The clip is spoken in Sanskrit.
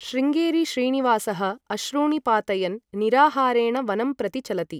शृंगेरी श्रीनिवासः अश्रूणि पातयन् निराहारेण वनं प्रति चलति।